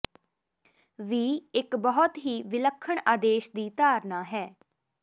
ਵੀ ਇੱਕ ਬਹੁਤ ਹੀ ਵਿਲੱਖਣ ਆਦੇਸ਼ ਦੀ ਧਾਰਨਾ ਹੈ